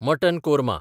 mutton korma